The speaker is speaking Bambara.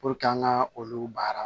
an ka olu baara